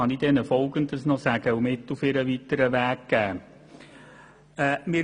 So kann ich ihnen noch Folgendes sagen und mit auf den weiteren Weg geben: